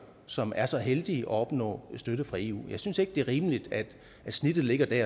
som er så heldige at opnå støtte fra eu jeg synes ikke det er rimeligt at snittet ligger der